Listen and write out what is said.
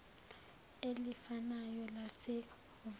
elifanayo lase hhovisi